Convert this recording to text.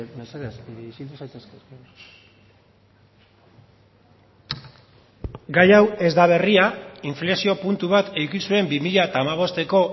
mesedez isildu zaitezte gai hau ez da berria inflexio puntu bat eduki zuen bi mila bosteko